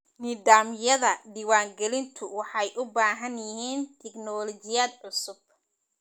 Nidaamyada diiwaangelintu waxay u baahan yihiin tignoolajiyad cusub.